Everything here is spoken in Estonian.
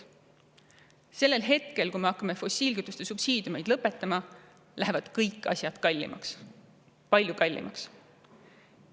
Sellel hetkel, kui me hakkame fossiilkütuste subsiidiumeid lõpetama, lähevad kõik asjad kallimaks, palju kallimaks.